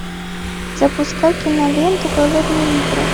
запускай киноленту голодные игры